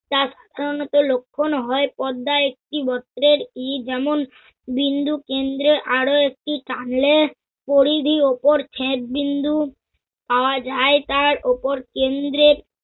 তা সাধারণত লক্ষণ হয় পদ্মা একটি গোত্রের ই যেমন বিন্দু কেন্দ্রে আরও একটি টানলে পরিধি অপর ছেদ বিন্দু পাওয়া যায় তার ওপর কেন্দ্রে